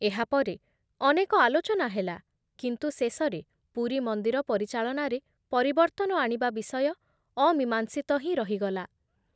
ଏହାପରେ ଅନେକ ଆଲୋଚନା ହେଲା, କିନ୍ତୁ ଶେଷରେ ପୁରୀ ମନ୍ଦିର ପରିଚାଳନାରେ ପରିବର୍ତ୍ତନ ଆଣିବା ବିଷୟ ଅମୀମାଂସିତ ହିଁ ରହିଗଲା ।